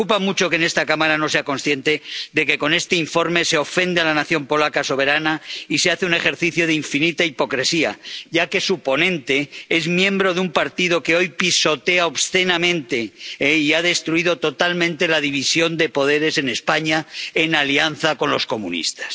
Me preocupa mucho que esta Cámara no sea consciente de que con este informe se ofende a la nación polaca soberana y se hace un ejercicio de infinita hipocresía, ya que su ponente es miembro de un partido que hoy pisotea obscenamente y ha destruido totalmente la división de poderes en España, en alianza con los comunistas.